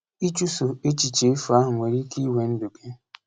Ịchụso echiche efu ahụ nwere ike iwe ndụ gị!